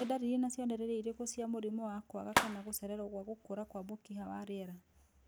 Nĩ ndariri na cionereria irĩkũ cia mũrimũ wa kwaga kana gũcererwo gwa gũkũra kwa mũkiha wa rĩera?